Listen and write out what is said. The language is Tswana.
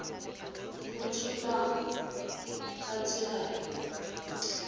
go tsholwa ka tsela e